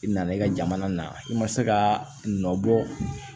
I nana i ka jamana na i ma se ka nɔ bɔ